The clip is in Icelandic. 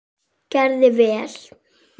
Gerði vel.